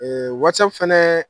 wasapu fɛnɛ